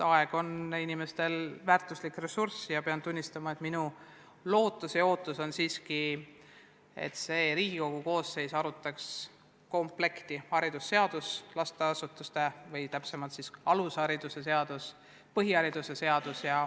Aeg on väärtuslik ressurss ja tuleb tunnistada, et ma loodan, et see Riigikogu koosseis arutab komplekti: haridusseadus, alushariduse seadus ja põhihariduse seadus.